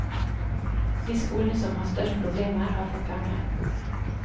De skolene som har størst problemer, har fått penger.